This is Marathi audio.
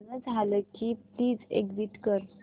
गाणं झालं की प्लीज एग्झिट कर